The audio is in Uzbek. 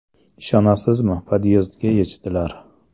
Ishonasizmi, podyezdga yechdilar.